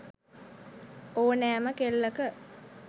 ඕනෑම කෙල්ලක